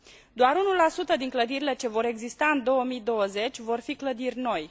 Doar 1 din clădirile ce vor exista în 2020 vor fi clădiri noi.